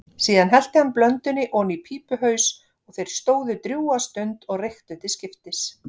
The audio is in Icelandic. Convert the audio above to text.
Síðan hellti hann blöndunni oní pípuhaus og þeir stóðu drjúga stund og reyktu til skiptis.